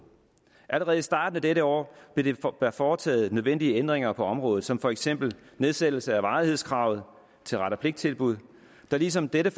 allerede i starten af dette år blev der foretaget nogle nødvendige ændringer på området som for eksempel nedsættelse af varighedskravet til ret og pligt tilbud der ligesom dette